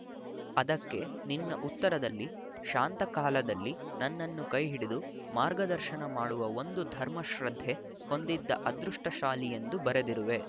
ಅದಕ್ಕೆ ನಿನ್ನ ಉತ್ತರದಲ್ಲಿ ಶಾಂತಕಾಲದಲ್ಲಿ ನನ್ನನ್ನು ಕೈಹಿಡಿದು ಮಾರ್ಗದರ್ಶನ ಮಾಡುವ ಒಂದು ಧರ್ಮಶ್ರದ್ಧೆ ಹೊಂದಿದ ಅದೃಷ್ಟಶಾಲಿಯೆಂದು ಬರೆದಿರುವೆ